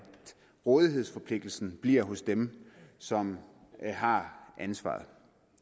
rådighedsforpligtelsen bliver hos dem som har ansvaret